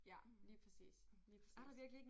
Ja lige præcis lige præcis